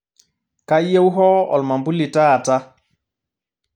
kayieu hoo olmambuli taata